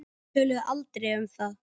Þau töluðu aldrei um það.